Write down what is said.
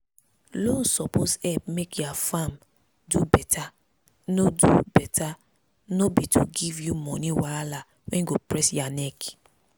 loan suppose help make ya farm do beta no do beta no be to give you money wahala wey go press ya neck.